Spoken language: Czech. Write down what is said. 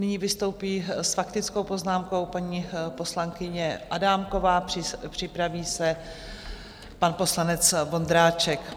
Nyní vystoupí s faktickou poznámkou paní poslankyně Adámková, připraví se pan poslanec Vondráček.